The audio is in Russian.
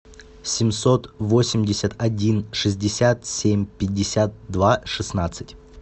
семьсот восемьдесят один шестьдесят семь пятьдесят два шестнадцать